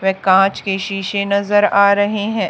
वे कांच के शीशे नजर आ रहे हैं।